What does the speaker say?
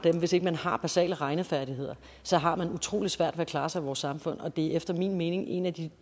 og hvis ikke man har basale regnefærdigheder så har man utrolig svært ved at klare sig i vores samfund og det er efter min mening en af de